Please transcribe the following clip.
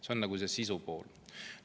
See on see sisupool.